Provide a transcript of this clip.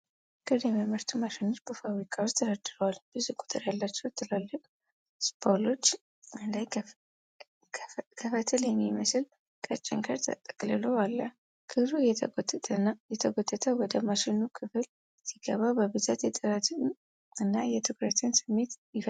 ክር የሚያመርቱ ማሽኖች በፋብሪካ ውስጥ ተደርድረዋል። ብዙ ቁጥር ያላቸው ትላልቅ ስፖሎች ላይ ከፈትል የሚመስል ቀጭን ክር ተጠቅልሎ አለ። ክሩ እየተጎተተ ወደ ማሽኑ ክፍል ሲገባ፣ በብዛት የጥረትን እና የትኩረትን ስሜት ይፈጥራል።